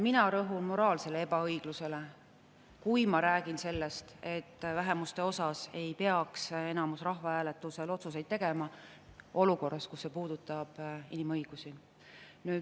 Mina rõhun moraalsele ebaõiglusele, kui ma räägin sellest, et vähemuste kohta ei peaks enamus rahvahääletusel otsuseid tegema, olukorras, kus see puudutab inimõigusi.